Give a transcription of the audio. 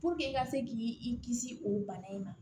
i ka se k'i i kisi o bana in ma